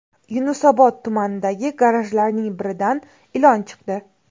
Yunusobod tumanidagi garajlarning biridan ilon chiqdi.